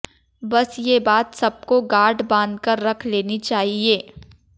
बस ये बात सबको गांठ बांध कर ऱख लेनी चाहिए